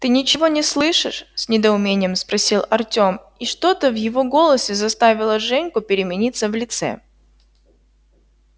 ты ничего не слышишь с недоумением спросил артем и что-то в его голосе заставило женьку перемениться в лице